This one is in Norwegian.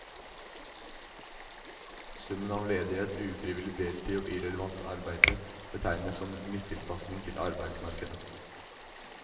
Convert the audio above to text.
Summen av ledighet, ufrivillig deltid og irrelevant arbeide betegnes som mistilpasning til arbeidsmarkedet.